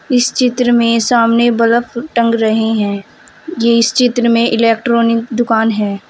इस चित्र में सामने बल्ब टंग रहे हैं ये इस चित्र में इलेक्ट्रॉनिक दुकान है।